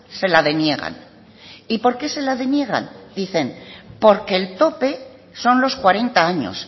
se la deniegan y por qué se la deniegan dicen porque el tope son los cuarenta años